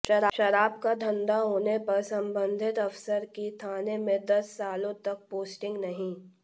शराब का धंधा होने पर संबंधित अफसर की थाने में दस सालों तक पोस्टिंग नहीं